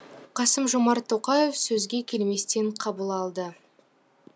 қасым жомарт тоқаев сөзге келместен қабыл алды